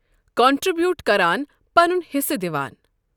Contribute کَران پنن حِصہٕ دِوان۔